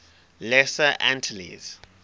lesser antilles